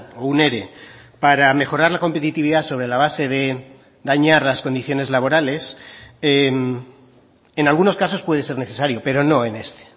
o un ere para mejorar la competitividad sobre la base de dañar las condiciones laborales en algunos casos puede ser necesario pero no en este